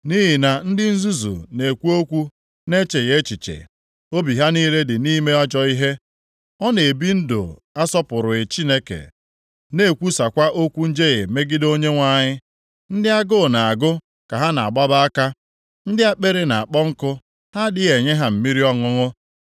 Nʼihi na ndị nzuzu na-ekwu okwu na-echeghị echiche, obi ha niile dị na-ime ajọ ihe. Ọ na-ebi ndụ asọpụrụghị Chineke, na-ekwusakwa okwu njehie megide Onyenwe anyị; ndị agụụ na-agụ ka ha na-agbaba aka ndị akpịrị na-akpọ nkụ, ha adịghị enye ha mmiri ọṅụṅụ.